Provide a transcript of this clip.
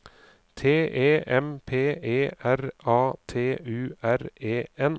T E M P E R A T U R E N